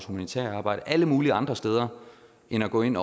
humanitære arbejde og alle mulige andre steder end at gå ind